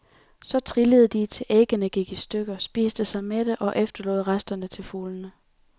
Så trillede de, til æggene gik i stykker, spiste sig mætte og efterlod resterne til fuglene.